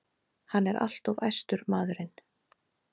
Hann er alltof æstur, maðurinn.